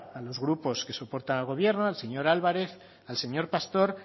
a los grupos que soportan al gobierno al señor álvarez al señor pastor